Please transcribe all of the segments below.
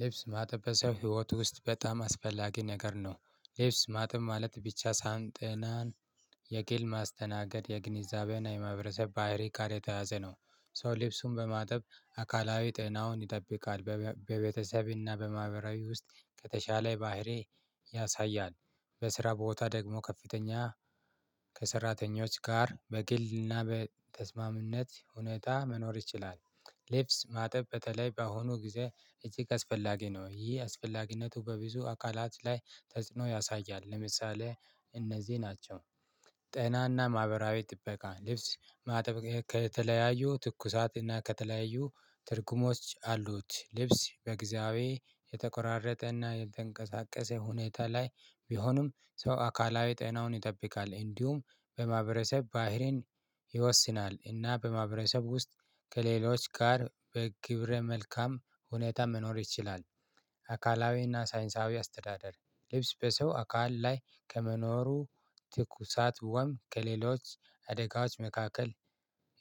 ልብስ ማጠብ በሰው ህይወት ውስጥ በጣም አስፈላጊ ነገር ነው። ልብስ ማጥብ ማለት ብቻ ሳይሆን ጤናን የኬል ማስተናገድ የግንዛቤና የማህበረሰብ ባህሪ ጋር የተያያዘ ነው። ሰው ልብሱን በማጠብ አካላዊ ጤናውን ይጠብቃል። በቤ በቤተሰብና በማህበራዊ ውስጥ ከተሻለ ባህሪ ያሳያል። በስራ ቦታ ደግሞ ከፍተኛ ከሰራተኞች ጋር በግልና በተስማሚነት ሁኔታ መኖር ይችላል። ሌብስ ማጠብ በተለይ በአሁኑ ጊዜ እጅግ አስፈላጊ ነው። ይሄ አስፈላጊነቱ በብዙ አካላት ላይ ተጽዕኖ ያሳያል። ለምሳሌ እነዚህ ናቸው፣ ጤናና ማህበራዊ ጥበቃ ልብስ ማጠብ ከተለያዩ ትኩሳትና ከተለያዩ ትርጉሞች አሉት። ልብስ በግዥዊ የተቆራረጠና የተንቀሳቀሰ ሁኔታ ላይ ቢሆንም ሰው አካላዊ ጤናውን ይጠብቃል። እንዲሁም በማህበረሰብ ባህሪን ይወስናል፤ እና በማህበረሰብ ውስጥ ከሌሎች ጋር በግብረ መልካም ሁኔታ መኖር ይችላል። አካላዊና ሳይንሳዊ አስተዳደር ልብስ በሰው አካል ላይ ከመኖሩ ትኩሳት ወም ከሌሎች አደጋዎች መካከል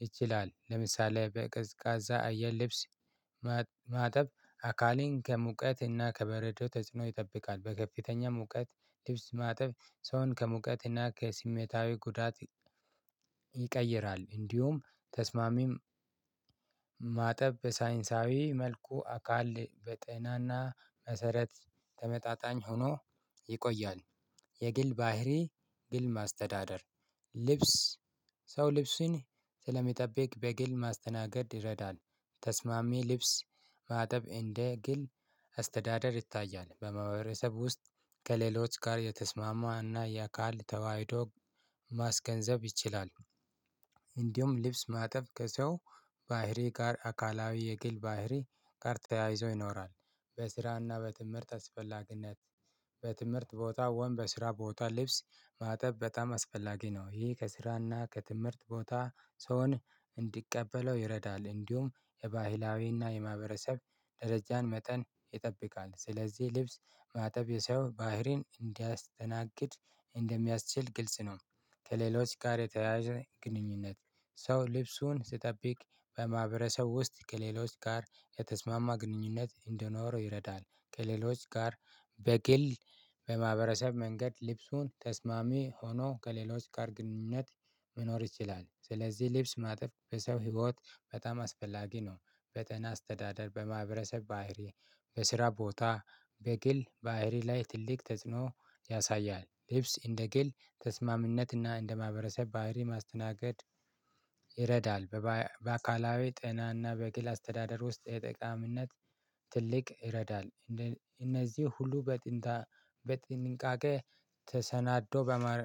ይችላል። ለምሳሌ በቅዝቃዛ አየር ልብስ ማጠብ አካሌን ከሙቀትና ከበረዶ ተጽዕኖ ይጠብቃል። በከፍተኛ ሙቀት ልብስ ማጠብ ሰውን ከሙቀትና ከስሜታዊ ጉዳት ይቀይራል። እንዲሁም ተስማሚም ማጠብ በሳይንሳዊ መልኩ አካል በጤናና መሰረት ተመጣጣኝ ሆኖ ይቆያል። የግል ባህሪ ግል ማስተዳደር ልብስ ሰው ልብሱን ስለሚጠብቅ በግል ማስተናገድ ይረዳል። ተስማሚ ልብስ ማጠብ እንደ ግል አስተዳደር ይታያል። በማህበረሰብ ውስጥ ከሌሎች ጋር የተስማማ እና የአካል ተዋህዶ ማስገንዘብ ይችላል። እንዲሁም ልብስ ማጠብ ከሰው ባህሪ ጋር አካላዊ የግል ባህሪ ጋር ተያይዞ ይኖራል። በስራና በትምህርት አስፈላጊነት በትምህርት ቦታ ወይም በስራ ቦታ ልብስ ማጠብ በጣም አስፈላጊ ነው። ይህ ከስራና ከትምህርት ቦታ ሰውን እንዲቀበለው ይረዳል። እንዲሁም የባህላዊና የማህበረሰብ ደረጃን መጠን ይጠብቃል። ስለዚህ ልብስ ማጠብ የሰው ባህሪን እንዲያስተናግድ እንደሚያስችል ግልጽ ነው። ከሌሎች ጋር የተያያዘ ግንኙነት ሰው ልብሱን ሲጠብቅ በማህበረሰብ ውስጥ ከሌሎች ጋር የተስማማ ግንኙነት እንዲኖረው ይረዳል። ከሌሎች ጋር በግል በማህበረሰብ መንገድ ልብሱን ተስማሚ ሆኖ ከሌሎች ጋር ግንኙነት መኖር ይችላል። ስለዚህ ልብስ ማጠብ በሰው ህይወት በጣም አስፈላጊ ነው። በጤና አስተዳደር፣ በማህበረሰብ ባህሪ፣ በስራ ቦታ፣ በግል ባህሪ ላይ ትልቅ ተጽዕኖ ያሳያል። ልብስ እንደ ግል ተስማምነትና እንደ ማህበረሰብ ባህሪ ማስተናገድ ይረዳል። በባ በአካላዊ ጤናና በግል አስተዳደር ውስጥ የጠቃሚነት ትልቅ ይረዳል። እንደ እነዚህ ሁሉ በጥንታ በጥንቃቄ ተሰናዶ በመረ